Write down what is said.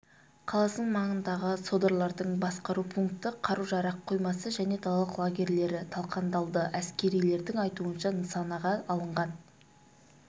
қаласының маңындағы содырлардың басқару пункті қару-жарақ қоймасы және далалық лагерьлері талқандалды әскерилердің айтуынша нысанаға алынған